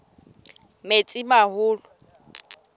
metsimaholo